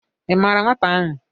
Ị maara weta ahụ?